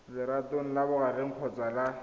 legatong la bogareng kgotsa la